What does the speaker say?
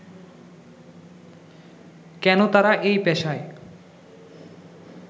কেন তারা এই পেশায়